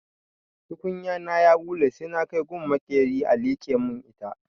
Tukunya na ya ɓule sai na kai gun maƙera a liƙe mun ita.